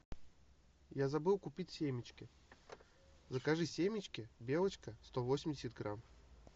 я забыл купить семечки закажи семечки белочка сто восемьдесят грамм